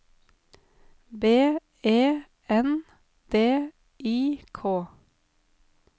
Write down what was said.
B E N D I K